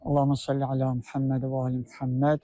Allahummə salli əla Muhəmməd və ali Muhəmməd.